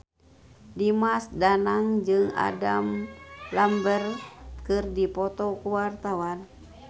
Dimas Danang jeung Adam Lambert keur dipoto ku wartawan